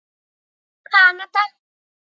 í Kanada.